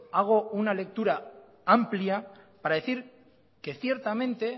hago una lectura amplia para decir que ciertamente